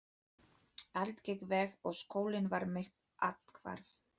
Allt gekk vel og skólinn var mitt athvarf.